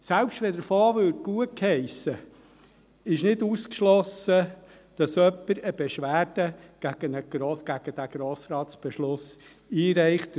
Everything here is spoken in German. Selbst wenn der Fonds gutgeheissen würde, ist es nicht ausgeschlossen, dass jemand eine Beschwerde gegen diesen Grossratsbeschluss einreicht;